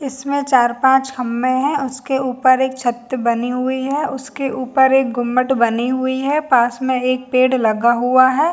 इसमें चार पांच खम्बे है उसके उपर एक छत बनी हुवी है उसके उपर एक घुमट बनी हुवी है पास में एक पेड़ लगा हुवा है।